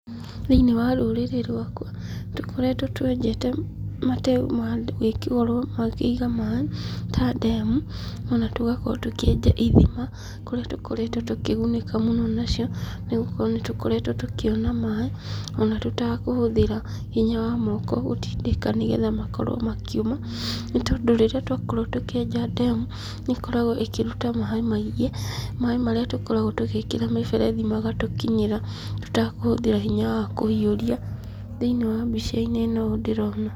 Thĩiniĩ wa rũrĩrĩ rwakwa, tũkoretwo twenjete mateu magũkorwo makĩiga maaĩ ta ndemu, ona tũgakorwo tũkĩenja ithima, kũrĩa tũkoretwo tũkĩgunĩka mũno nacio, nĩgũkorwo nĩtũkoretwo tũkĩona maaĩ, ona tũtekũhũthĩra hinya wa moko gũtindĩka, nĩgetha makorwo makiuma, nĩtondũ rĩrĩa twakorwo tũkĩenja ndemu, nĩ ĩkoragwo ĩkĩruta maaĩ maingĩ, maaĩ marĩa tũkoragwo tũgĩkĩra mĩberethi magatũkinyĩra tũtakũhũthĩra hinya wa kũhiũria thĩiniĩ wa mbica-inĩ ĩno ũũ ndĩrona.